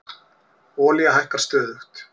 Olía hækkar stöðugt